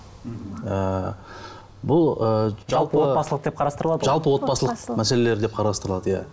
ыыы бұл ы жалпыотбасылық деп қарастырылады ғой жалпыотбасылық мәселелер деп қарастырылады иә